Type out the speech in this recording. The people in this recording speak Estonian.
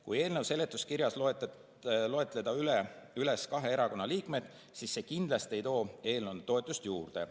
Kui eelnõu seletuskirjas loetleda kahe erakonna liikmeid, siis see kindlasti ei too eelnõule toetust juurde.